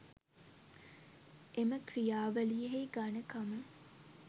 එම ක්‍රියාවලියෙහි ඝණකම